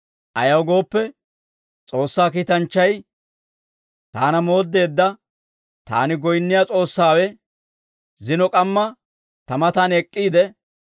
Ayaw gooppe, S'oossaa kiitanchchay, taana mooddeedda taani goyinniyaa S'oossaawe, zino k'amma ta matan ek'k'iide,